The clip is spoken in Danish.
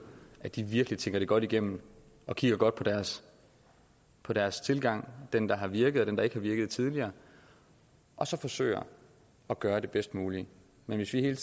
at de virkelig tænker det godt igennem og kigger godt på deres på deres tilgang den der har virket og den der ikke har virket tidligere og så forsøger at gøre det bedst mulige men hvis vi hele